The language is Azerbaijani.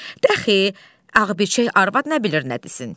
De axı, ağbirçək arvad nə bilir nə desin.